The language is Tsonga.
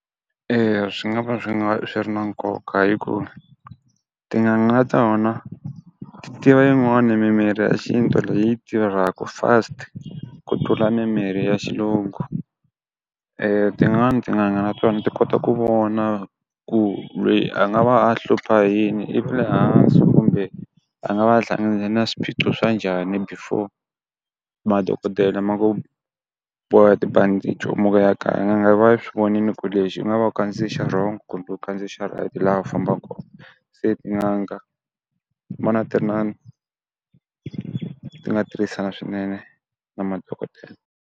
Eya swi nga va swi nga swi ri na nkoka hikuva tin'anga na tona ti tiva yin'wani mimirhi ya xintu leyi tirhaka fast ku tlula mimirhi ya xilungu. tin'wani tin'anga na tona ti kota ku vona ku loyi a nga va a hlupha hi yini, i va le hansi kumbe a nga va hlangana na swiphiqo swa njhani. Before madokodela ma ku boha tibandichi u muka u ya kaya n'anga yi va yi swi vonile ku lexi u nga va u kandziye xa wrong kumbe u kandziye xa right laha u fambaka kona. Se tin'anga ni vona ti ri na ti nga tirhisana swinene na madokodela.